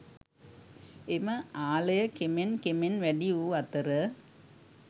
එම ආලය කෙමෙන් කෙමෙන් වැඩි වූ අතර